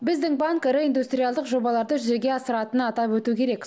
біздің банк ірі индустриалдық жобаларды жүзеге асыратынын атап өту керек